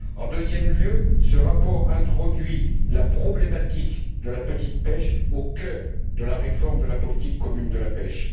En deuxième lieu, ce rapport introduit la problématique de la petite pêche au cœur de la réforme de la politique commune de la pêche.